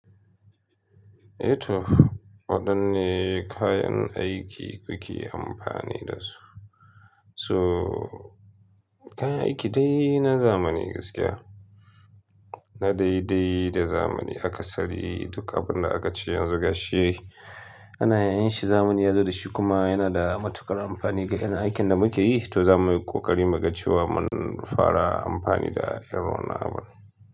Eh to waɗanne kayan aiki kuke amfani da su? So kayan aiki dai na zamani gaskiya, na daidai da zamani aka sari duk abin da aka ce yanzu gashi ana iya yin shi zamani ya zo da shi kuma yana da matuƙar amfani ga 'yan aikin da muke yi, to za muyi ƙoƙari mu ga cewa mun fara amfani da irin wannan abun.